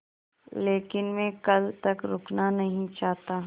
लेकिन मैं कल तक रुकना नहीं चाहता